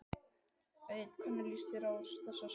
Egill hvernig líst þér á þessa stöðu?